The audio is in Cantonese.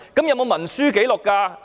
有文書紀錄嗎？